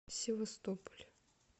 севастополь